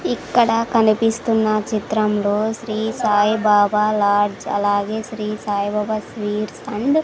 ఇక్కడ కనిపిస్తున్న చిత్రంలో శ్రీ సాయి బాబా లాడ్జ్ అలాగే శ్రీ సాయి బాబా స్వీట్స్ అండ్ --